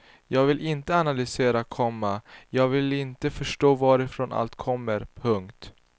Jag vill inte analysera, komma jag vill inte förstå varifrån allt kommer. punkt